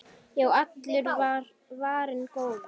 Já, allur var varinn góður!